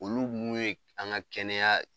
Olu mun ye k an ŋa kɛnɛya